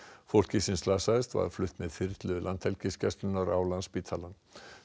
fólkið sem slasaðist var flutt með þyrlu Landhelgisgæslunnar á Landspítalann